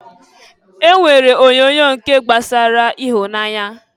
E nwere onyoonyo nke gbasara ihunanya.